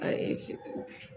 Ayi